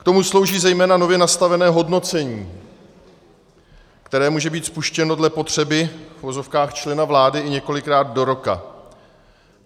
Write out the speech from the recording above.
K tomu slouží zejména nově nastavené hodnocení, které může být spuštěno dle potřeby, v uvozovkách, člena vlády i několikrát do roka.